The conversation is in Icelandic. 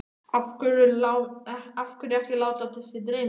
Af hverju ekki að láta sig dreyma?